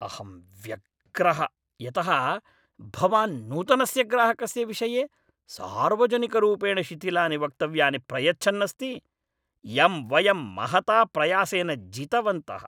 अहं व्यग्रः यतः भवान् नूतनस्य ग्राहकस्य विषये सार्वजनिकरूपेण शिथिलानि वक्तव्यानि प्रयच्छन् अस्ति, यं वयं महता प्रयासेन जितवन्तः।